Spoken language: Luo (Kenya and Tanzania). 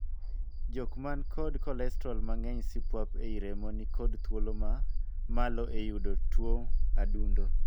Jok man kod kolestrol mang'eny sipuap ei remo ni kod thuolo ma malo e yudo tuo adundo.